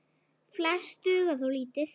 Flest duga þó lítið.